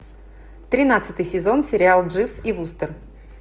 тринадцатый сезон сериал дживс и вустер